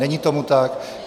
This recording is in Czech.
Není tomu tak.